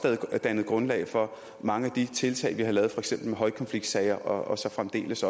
dannet grundlag for mange af de tiltag vi har lavet for eksempel med højkonfliktsager og så fremdeles